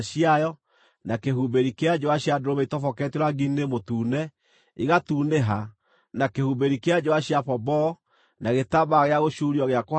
na kĩhumbĩri kĩa njũa cia ndũrũme itoboketio rangi-inĩ mũtune, igatunĩha, na kĩhumbĩri kĩa njũa cia pomboo, na gĩtambaya gĩa gũcuurio gĩa kũhakania;